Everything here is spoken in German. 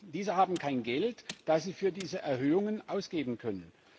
Diese haben kein Geld, das sie für diese Erhöhungen ausgeben können.